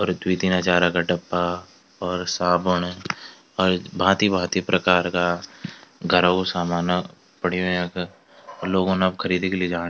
और द्वि तीन हजारा का डब्बा और साबुण और भाँती-भांति प्रकार का घरो सामाना क पडयुं यख अर लोगोन अब खरीदिक लिजाण।